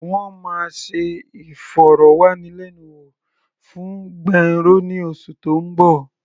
Wọ́n máa ṣe ìfọ̀rọ̀wánilẹ́nuwò fún Gbénró ní oṣù tó ń bọ̀.